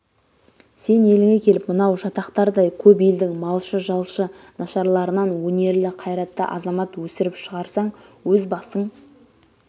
сен еліңе келіп мынау жатақ-тардай көп елдің малшы-жалшы нашарларынан өнерлі қайратты азамат өсіріп шығарсаң өз басың